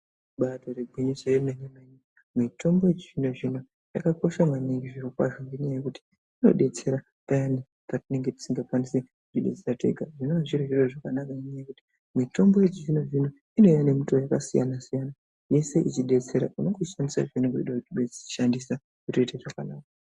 Ibatori gwinyiso yemene mene mitombo yechi zvino zvino yakakosha maningi zviro kwazvo ngenyaya yekuti inobetsera payani patinenge tisingakwanisi kuzvibetsera tega zvinova zviri zviro zvakanaka ngenyaya yekuti mitombo yechizvino zvino inouya nemutowo yakasiyana siyana yese ichidetsera paunenge uchishandisa zvaunenge uchida kuishandisa zvotoite zvakanaka.